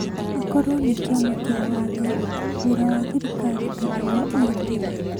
akorwo nĩ kĩama kĩa watho, wĩra wa thirikari kana wa ũgitĩri.